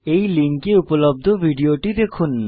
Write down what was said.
এই লিঙ্কে উপলব্ধ ভিডিওটি দেখুন